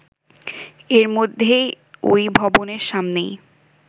এর মধ্যেই ওই ভবনের সামনেই